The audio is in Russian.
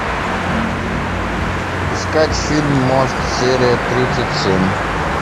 искать фильм мост серия тридцать семь